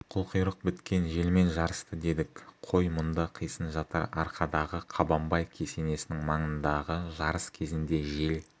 қылқұйрық біткен желмен жарысты дедік қой мұнда қисын жатыр арқадағы қабанбай кесенесінің маңындағы жарыс кезінде жел